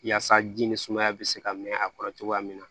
Yaasa ji ni sumaya be se ka mɛn a kɔrɔ cogoya min na